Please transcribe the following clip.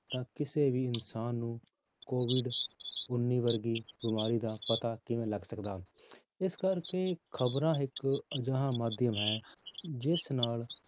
ਤਾਂ ਕਿਸੇ ਵੀ ਇਨਸਾਨ ਨੂੰ COVID ਉੱਨੀ ਵਰਗੀ ਬਿਮਾਰੀ ਦਾ ਪਤਾ ਕਿਵੇਂ ਲੱਗ ਸਕਦਾ, ਇਸ ਕਰਕੇ ਖ਼ਬਰਾਂ ਇੱਕ ਅਜਿਹਾ ਮਾਧਿਅਮ ਹੈ ਜਿਸ ਨਾਲ